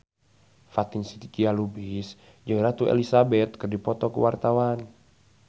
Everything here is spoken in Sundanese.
Fatin Shidqia Lubis jeung Ratu Elizabeth keur dipoto ku wartawan